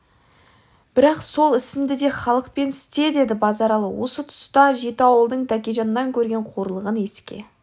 бірақ сол ісінді де халықпен істе деді базаралы осы тұста жеті ауылдың тәкежаннан көрген қорлығын еске